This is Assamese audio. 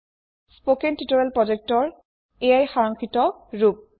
স্পকেন টিউটৰিয়েল প্ৰজেক্টৰ এয়াই সাৰাংশিত ৰূপ